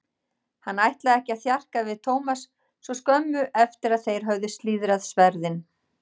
Hann ætlaði ekki að þjarka við Thomas svo skömmu eftir að þeir höfðu slíðrað sverðin.